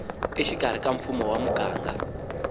exikarhi ka mfumo wa muganga